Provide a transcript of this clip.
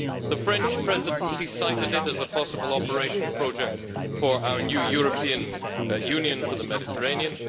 The French Presidency cited it as a possible operation project for our new European Union for the Mediterranean.